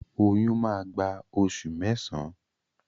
Oyún má gbà oṣù mẹsan.